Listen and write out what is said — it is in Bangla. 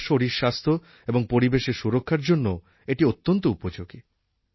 আমার শরীরস্বাস্থ্য এবং পরিবেশের সুরক্ষার জন্যও এটি অত্যন্ত উপযোগী